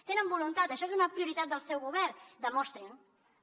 tenen voluntat això és una prioritat del seu govern demostrin ho